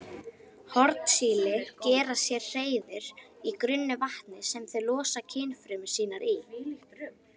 Hornsíli gera sér hreiður í grunnu vatni sem þau losa kynfrumur sínar í.